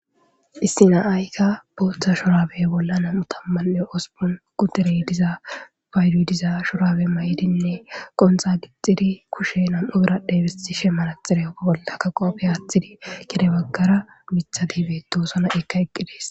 issi na7aykka booththa shorabey bolla nam7u tammanne ospon qudere diza baydudiza shorabe ma7idinne qonxa gixxxidi kushe nam7u biradhe bisti she manaxire bollaka qoofe aaththidi kede baggara mitha diibe doosona ekka eqqidees